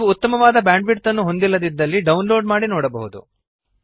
ನೀವು ಉತ್ತಮವಾದ ಬ್ಯಾಂಡ್ವಿಡ್ತ್ ಅನ್ನು ಹೊಂದಿಲ್ಲದಿದ್ದರೆ ಡೌನ್ಲೋಡ್ ಮಾಡಿ ನೋಡಬಹುದು